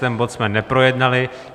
Ten bod jsme neprojednali.